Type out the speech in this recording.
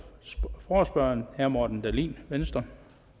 forespørgerne herre morten dahlin venstre